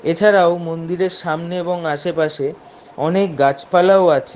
এছাড়াও মন্দিরের সামনে এবং আশেপাশে অনেক গাছপালাও আছে ।